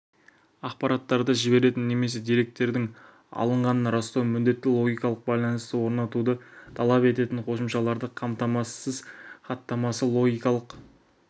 ақпараттарды жіберетін немесе деректердің алынғанын растауды міндетті логикалық байланысты орнатуды талап ететін қосымшаларды қамтамасыз хаттамасы логикалық